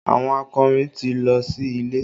Àwọn akọrin ti lọ sí ilé